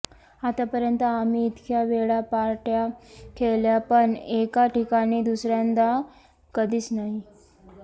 आत्तापर्यंत आम्ही इतक्या वेळा पार्ट्या केल्या पण एका ठिकाणी दुसऱ्यांदा कधीच नाही